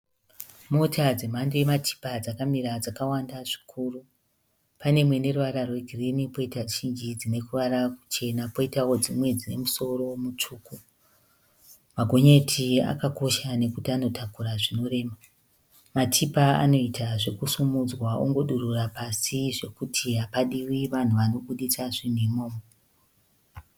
Mota dzemhando yematipa dzakamira dzakawanda zvikuru. Pane imwe ruwara rwe girini poita zhinji dzine ruwara ruchena poitao dzimwe dzine musoro mutsvuku. Magonyeti akakosha nekuti anotakura zvinorema. Matipa anoita zvekusimudzwa ongodurura pasi zvekuti hapadiwi vanhu vanoita zvekuburitsa zvinhu imomo.